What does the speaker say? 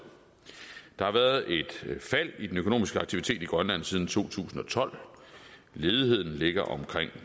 der har været et fald i den økonomiske aktivitet i grønland siden to tusind og tolv ledigheden ligger omkring